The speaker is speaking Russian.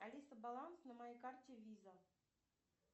алиса баланс на моей карте виза